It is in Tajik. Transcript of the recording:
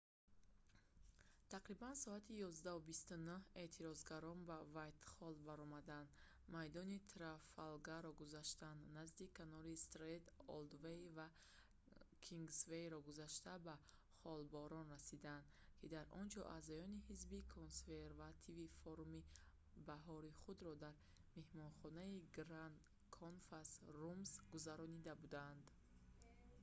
тақрибан соати 11:29 эътирозгарон ба вайтхолл баромаданд майдони трафалгаро гузаштанд назди канори стренд олдвей ва кингсвейро гузашта ба холборн расиданд ки дар онҷо аъзоёни ҳизби консервативӣ форуми баҳории худро дар меҳмонхонаи гранд конфас румс гузаронида буданд